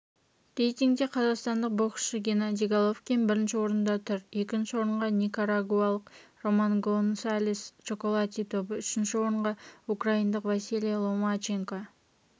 рейтингте қазақстандық боксшыгеннадий головкин бірінші орында тұр екінші орынға никарагуалық романгонсалес чоколатито үшінші орынға украиндықвасилий ломаченко